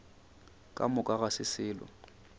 ka moka ga se selo